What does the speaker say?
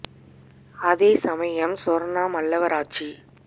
அதேசமய ம் சொா்ணா மல்லவராச்சி